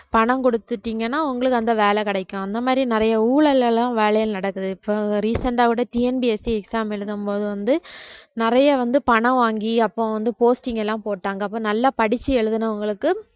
பணம் குடுத்துட்டீங்கன்னா உங்களுக்கு அந்த வேலை கிடைக்கும் அந்த மாதிரி நிறைய ஊழல் எல்லாம் வேலைகள் நடக்குது இப்ப recent ஆ கூட TNPSC exam எழுதும்போது வந்து நிறைய வந்து பணம் வாங்கி அப்ப வந்து posting எல்லாம் போட்டாங்க அப்ப நல்லா படிச்சு எழுதினவங்களுக்கு